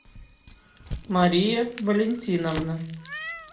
мария валентиновна